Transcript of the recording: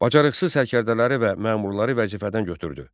Bacarıqsız sərkərdələri və məmurları vəzifədən götürdü.